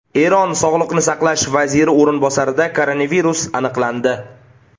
Eron sog‘liqni saqlash vaziri o‘rinbosarida koronavirus aniqlandi .